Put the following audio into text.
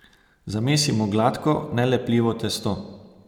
Zamesimo gladko, nelepljivo testo.